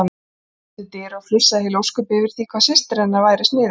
Gerður kom til dyra og flissaði heil ósköp yfir því hvað systir hennar væri sniðug.